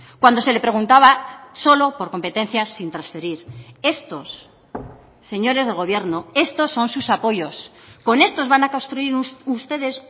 cuando se le preguntaba solo por competencias sin transferir estos señores del gobierno estos son sus apoyos con estos van a construir ustedes